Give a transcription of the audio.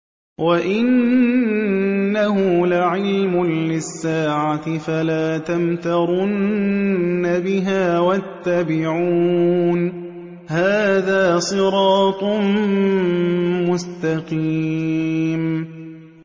وَإِنَّهُ لَعِلْمٌ لِّلسَّاعَةِ فَلَا تَمْتَرُنَّ بِهَا وَاتَّبِعُونِ ۚ هَٰذَا صِرَاطٌ مُّسْتَقِيمٌ